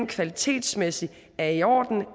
kvalitetsmæssigt er i orden